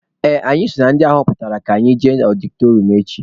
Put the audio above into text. Ee, anyị so na ndị aghọpụtara ga-eje ọdịtọrịọm echi.